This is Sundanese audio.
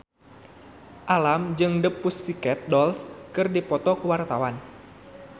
Alam jeung The Pussycat Dolls keur dipoto ku wartawan